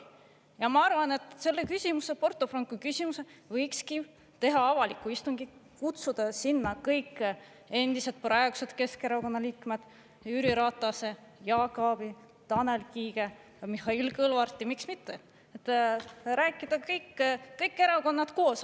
Ja ma arvan, et selle küsimuse, Porto Franco küsimuse kohta võikski teha avaliku istungi, kutsuda sinna kõik endised ja praegused Keskerakonna liikmed, Jüri Ratase, Jaak Aabi, Tanel Kiige ja Mihhail Kõlvarti, miks mitte, et rääkida kõik erakonnad koos.